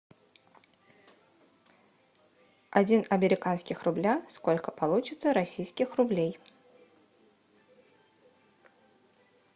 один американских рубля сколько получится российских рублей